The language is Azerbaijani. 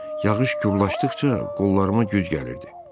Yağış gurlaşdıqca qollarıma güc gəlirdi.